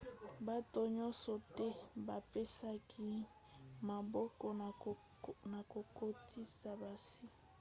bato nyonso te bapesaki maboko na kokotisa basi